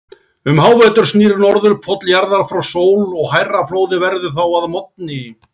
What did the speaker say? Um hávetur snýr Norðurpóll jarðar frá sól og hærra flóðið verður þá að morgni.